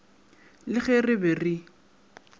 le ge re be re